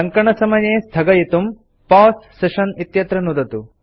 टङ्कणसमये स्थगयितुं pause session इत्यत्र नुदतु